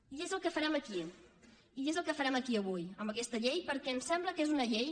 i és el que farem aquí i és el que farem aquí avui amb aquesta llei perquè ens sembla que és una llei